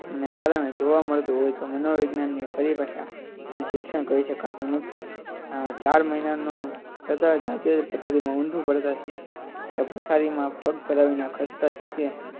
ના કારણે જોવા મળતું હોય તો તેને મનોવિજ્ઞાનને પરિભાષામાં શિક્ષા કરી શકાતું નથી ચાર મહિના તથા જાતે ઉંધુ પડતા શીખે અથવા તો પગ ભેરવી ને લખસ્તા શીખે